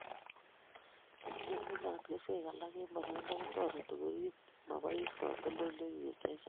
Ngenemunot kesweek alage eng boroindo kotoreti koriib mabois katoldoloiwek che chang'